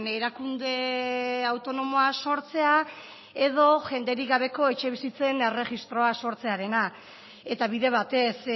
erakunde autonomoa sortzea edo jenderik gabeko etxebizitzen erregistroa sortzearena eta bide batez